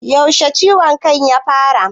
Yaushe ciwon kan ya fara?